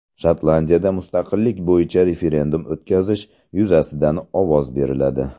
Shotlandiyada mustaqillik bo‘yicha referendum o‘tkazish yuzasidan ovoz beriladi.